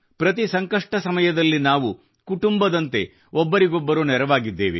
ಪ್ರತಿ ಸಂಕಷ್ಟ ಸಮಯದಲ್ಲಿ ನಾವು ಕುಟುಂಬದಂತೆ ಒಬ್ಬರಿಗೊಬ್ಬರು ನೆರವಾಗಿದ್ದೇವೆ